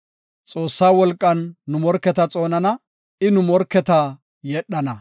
Xoossaa wolqan nu morketa xoonana; I nu morketa yedhana.